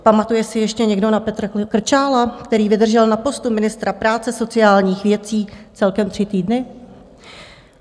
Pamatuje si ještě někdo na Petra Krčála, který vydržel na postu ministra práce sociálních věcí celkem tři týdny?